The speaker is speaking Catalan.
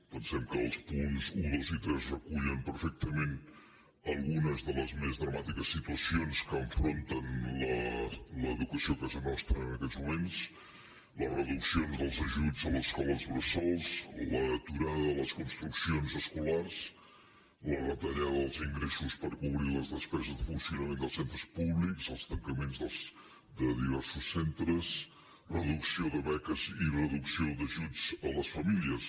pensem que els punts un dos i tres recullen perfectament algunes de les més dramàtiques situacions que enfronta l’educació a casa nostra en aquests moments les reduccions dels ajuts a les escoles bressol l’aturada de les construccions escolars la retallada dels ingressos per cobrir les despeses de funcionament dels centres públics els tancaments de diversos centres reducció de beques i reducció d’ajuts a les famílies